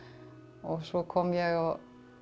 og svo kom ég á